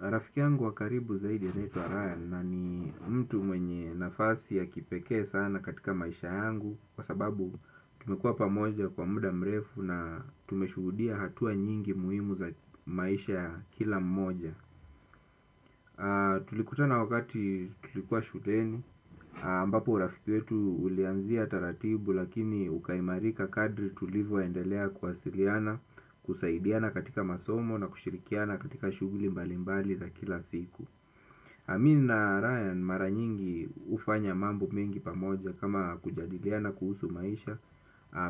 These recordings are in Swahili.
Rafiki yangu wa karibu zaidi anaitwa Ryann na ni mtu mwenye nafasi ya kipekee sana katika maisha yangu. Kwa sababu tumekua pamoja kwa muda mrefu na tumeshuhudia hatua nyingi muhimu za maisha kila mmoja. Tulikutana wakati tulikua shuleni ambapo urafiki yetu ulianzia taratibu lakini ukaimarika kadri tulivyoendelea kuwasiliana. Kusaidiana katika masomo na kushirikiana katika shughuli mbalimbali za kila siku. Mi na Ryan mara nyingi hufanya mambo mengi pamoja kama kujadiliana kuhusu maisha,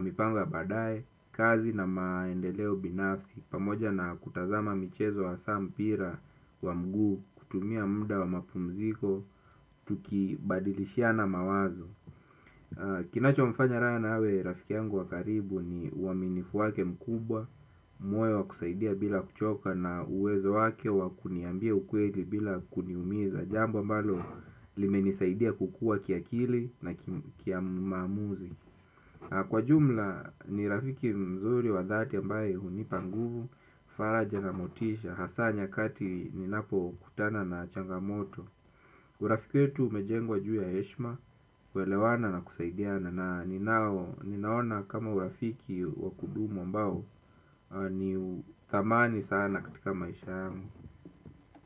mipango ya baadae, kazi na maendeleo binafsi, pamoja na kutazama michezo hasa mpira wa mguu kutumia muda wa mapumziko, tukibadilishiana mawazo. Kinachomfanya Ryann awe rafiki yangu wa karibu ni uaminifu wake mkubwa. Moyo wa kusaidia bila kuchoka na uwezo wake wa kuniambia ukweli bila kuniumiza. Jambo ambalo limenisaidia kukua kiakili na kimaamuzi kwa jumla ni rafiki mzuri wa dhati ambaye hunipa nguvu faraja na motisha. Hasa nyakati ninapokutana na changamoto. Urafiki yetu umejengwa juu ya heshima, kuelewana na kusaidiana na ninaona kama urafiki wa kudumu ambao ni uthamani sana katika maisha yangu.